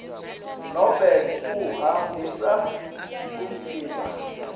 nobe kuhambisa umtimba